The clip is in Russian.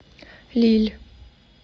лилль